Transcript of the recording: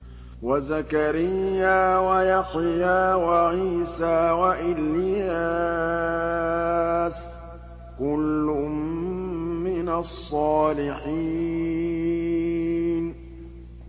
وَزَكَرِيَّا وَيَحْيَىٰ وَعِيسَىٰ وَإِلْيَاسَ ۖ كُلٌّ مِّنَ الصَّالِحِينَ